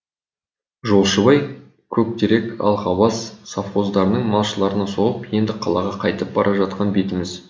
жолшыбай көктерек алғабас совхоздарының малшыларына соғып енді қалаға қайтып бара жатқан бетіміз